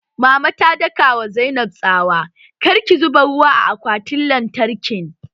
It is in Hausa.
Mama ta daka wa Zainab tsawa 'Kar ki zuba ruwa a akwatin lantarkin'!